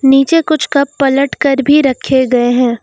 नीचे कुछ कप पलट कर भी रखे गए हैं।